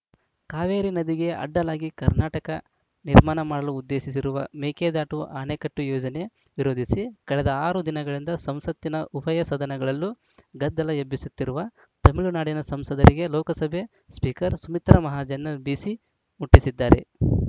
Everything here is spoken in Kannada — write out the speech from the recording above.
ಕಾವೇರಿ ನದಿಗೆ ಅಡ್ಡಲಾಗಿ ಕರ್ನಾಟಕ ನಿರ್ಮಾಣ ಮಾಡಲು ಉದ್ದೇಶಿಸಿರುವ ಮೇಕೆದಾಟು ಅಣೆಕಟ್ಟೆಯೋಜನೆ ವಿರೋಧಿಸಿ ಕಳೆದ ಆರು ದಿನಗಳಿಂದ ಸಂಸತ್ತಿನ ಉಭಯ ಸದನಗಳಲ್ಲೂ ಗದ್ದಲ ಎಬ್ಬಿಸುತ್ತಿರುವ ತಮಿಳುನಾಡಿನ ಸಂಸದರಿಗೆ ಲೋಕಸಭೆ ಸ್ಪೀಕರ್‌ ಸ್ಮಿ ತ್ರಾ ಮಹಾಜನ್‌ ಬಿಸಿ ಮುಟ್ಟಿಸಿದ್ದಾರೆ